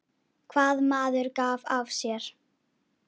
Hvað maður gaf af sér.